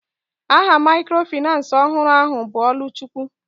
Aha microfinace ọhụrụ ahụ bụ Oluchukwu.